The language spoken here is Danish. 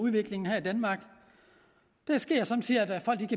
udviklingen her i danmark det sker somme tider at folk